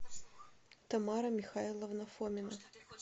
тамара михайловна фомина